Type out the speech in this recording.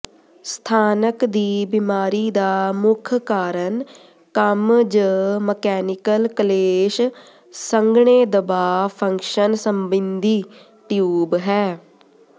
ਸਥਾਨਕ ਦੀ ਬਿਮਾਰੀ ਦਾ ਮੁੱਖ ਕਾਰਨ ਕੰਮ ਜ ਮਕੈਨੀਕਲ ਕਲੇਸ਼ ਸੰਘਣੇਦਬਾਅ ਫੰਕਸ਼ਨ ਸਬਿੰਧੀ ਟਿਊਬ ਹੈ